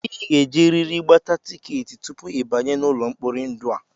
I ga-ejerịrị gbata tikeetị tupu ị banye n'ụlọ mkpori ndụ a!